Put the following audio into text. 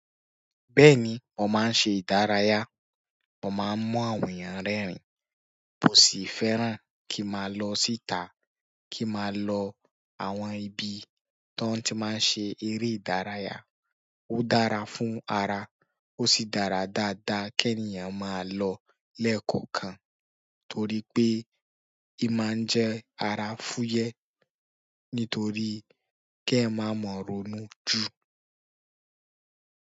Bẹ́ẹ̀ni, wọ́n máa ń ṣe ìdárayá, wọ́n máa ń mú àwọn èèyàn rẹ́rìn, kò sì fẹ́ràn kí a máa lọ síta kí n máa lọ àwọn ibi tó ti máa ń ṣe eré ìdárayá. Ó dára fún ara, ó sì dára dáadáa kí ènìyàn máa lọ lẹ́ẹ̀kọ̀kan torí pé, i máa ń jẹ́ ara fúyẹ́ nítorí ki éyan máa ma rọ̀ọ́nu ju.